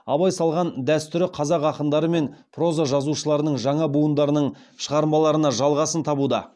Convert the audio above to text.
абай салған дәстүрі қазақ ақындары мен проза жазушыларының жаңа буындарының шығармаларына жалғасын табуда